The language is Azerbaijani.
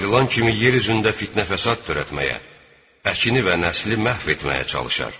Ayrılan kimi yer üzündə fitnə-fəsad törətməyə, əkini və nəsli məhv etməyə çalışar.